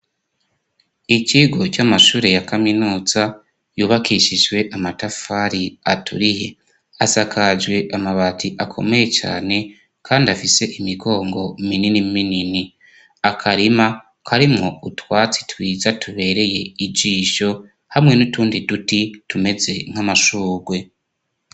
Ikigo c'amashure ya Kaminuza yubakishijwe amatafari aturiye asakajwe amabati akomeye cane kandi afise imigongo minini minini akarima karimwo utwatsi twiza tubereye ijisho hamwe n'utundi duti tumeze nk'amashugwe.